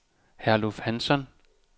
Herluf Hansson